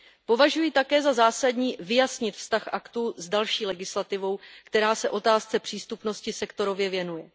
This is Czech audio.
Považuji také za zásadní vyjasnit vztah aktu s další legislativou, která se otázce přístupnosti sektorově věnuje.